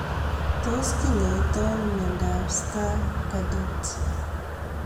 Tos kinyoitoi ano miondop Stargardt